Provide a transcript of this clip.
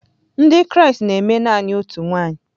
Ndị Kraịst na-eme naanị otu nwanyị.